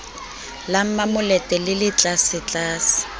la mmamolete le le tlasetlase